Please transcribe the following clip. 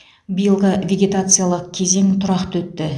биылғы вегетациялық кезең тұрақты өтті